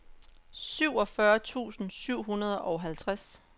syvogfyrre tusind syv hundrede og halvtreds